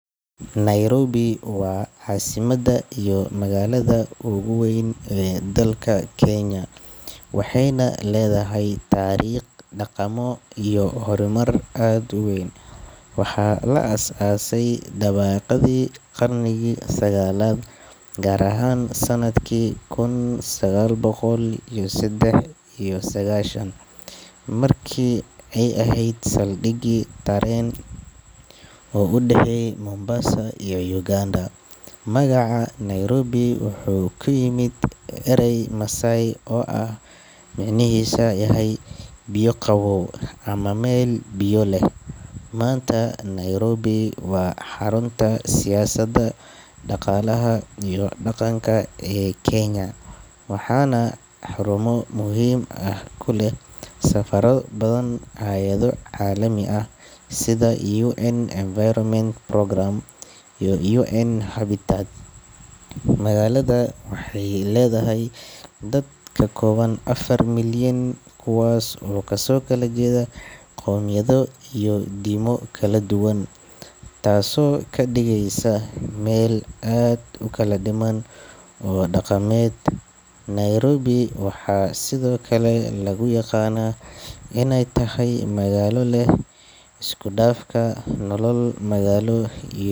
Nairobi waa caasimadda iyo magaalada ugu weyn ee dalka Kenya, waxayna leedahay taariikh, dhaqamo iyo horumar aad u weyn. Waxaa la aasaasay dabayaaqadii qarnigii sagaalaad, gaar ahaan sanadkii kun sagaal boqol iyo saddex iyo sagaashan, markii ay ahayd saldhig tareen oo u dhexeeya Mombasa iyo Uganda. Magaca Nairobi wuxuu ka yimid eray Masaai ah oo macnihiisu yahay “biyo qabow” ama “meel biyo leh.” Maanta, Nairobi waa xarunta siyaasadda, dhaqaalaha iyo dhaqanka ee Kenya, waxaana xarumo muhiim ah ku leh safaarado badan, hay’ado caalami ah sida UN Environment Programme iyo UN-Habitat. Magaalada waxay leedahay dad ka badan afar milyan, kuwaas oo kasoo kala jeeda qowmiyado iyo diimo kala duwan, taasoo ka dhigaysa meel aad u kala dhiman oo dhaqameed. Nairobi waxaa sidoo kale lagu yaqaanaa inay tahay magaalo leh isku dhafka nolol magaalo.